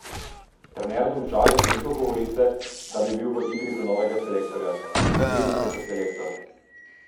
Trener Domžal je zanikal govorice, da bi bil v igri za novega selektorja: "Ne vidim se kot selektor.